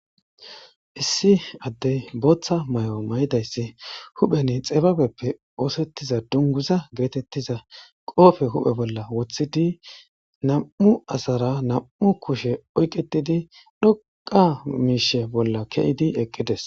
Issi addey booththa may'o may'idayssi huphen xibabeppe oosettiza dunguza geetettiza qoofe huphe bolla woththidi nam'u asara nam'u kushe oyqetidi dhoqa miishe bolla keyidi eqqides